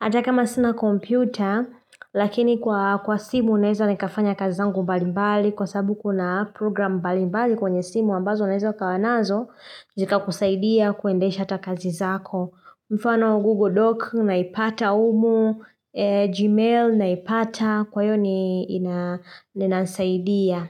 hata kama sina kompyuta, lakini kwa kwa simu naeza nikafanya kazi zangu mbalimbali kwa sababu kuna program mbalimbali kwenye simu ambazo unaeza ukawanazo zikakusaidia kuendesha hata kazi zako. Mfano Google Doc naipata humu, Gmail naipata, kwa hio ni nasaidia.